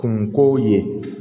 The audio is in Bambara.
Kungo ye